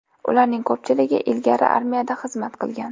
Ularning ko‘pchiligi ilgari armiyada xizmat qilgan.